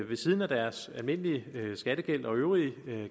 ved siden af deres almindelige skattegæld og øvrige